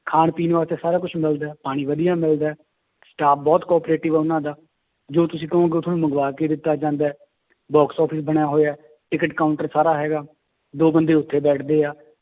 ਖਾਣ ਪੀਣ ਵਾਸਤੇ ਸਾਰਾ ਕੁਛ ਮਿਲਦਾ ਹੈ ਪਾਣੀ ਵਧੀਆ ਮਿਲਦਾ ਹੈ staff ਬਹੁਤ cooperative ਹੈ ਉਹਨਾਂ ਦਾ, ਜੋ ਤੁਸੀਂ ਕਹੋਗੇ ਉਹ ਤੁਹਾਨੂੰ ਮੰਗਵਾ ਕੇ ਦਿੱਤਾ ਜਾਂਦਾ ਹੈ box office ਬਣਿਆ ਹੋਇਆ ਹੈ ਟਿੱਕਟ counter ਸਾਰਾ ਹੈਗਾ, ਦੋ ਬੰਦੇ ਉੱਥੇ ਬੈਠਦੇ ਆ,